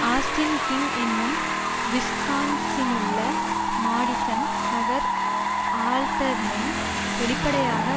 Austin King என்னும் விஸ்கான்சினுலுள்ள Madison நகர் ஆல்டர்மென் வெளிப்படையாக